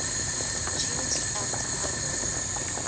opportunity act agoa